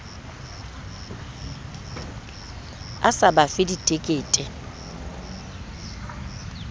a sa ba fe ditekete